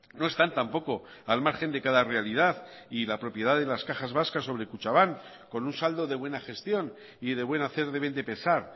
no están tampoco al margen de cada realidad y la propiedad de las cajas vascas sobre kutxabank con un saldo de buena gestión y de buen hacer deben de pesar